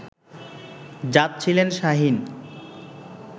যাচ্ছিলেন শাহীন